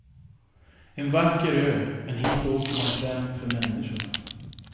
En vacker ö men hit åker man främst för människorna.